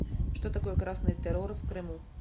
что такое красный террор в крыму